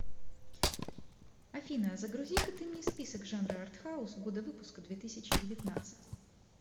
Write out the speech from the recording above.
афина а загрузи ка ты мне список жанра арт хаус года выпуска две тысячи девятнадцать